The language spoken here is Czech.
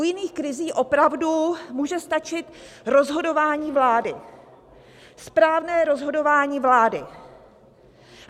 U jiných krizí opravdu může stačit rozhodování vlády, správné rozhodování vlády.